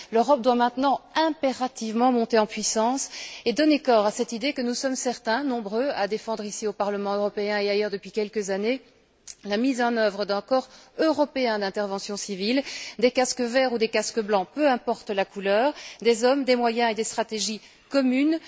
L'Europe doit maintenant impérativement monter en puissance et donner corps à cette idée que nous sommes certains, nombreux, à défendre, ici au Parlement européen et ailleurs depuis quelques années, la mise en œuvre d'un corps européen d'intervention civile, des casques verts ou des casques blancs, peu importe la couleur, des hommes, des moyens et des stratégies communes.